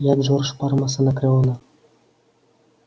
я джордж парма с анакреона